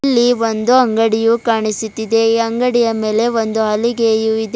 ಈ ಒಂದು ಅಂಗಡಿಯು ಕಾಣಿಸುತ್ತಿದೆ ಈ ಅಂಗಡಿಯ ಮೇಲೆ ಒಂದು ಹಲಿಗೆಯು ಇದೆ.